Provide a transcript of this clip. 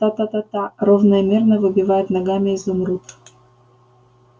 та-та-та-та ровно и мерно выбивает ногами изумруд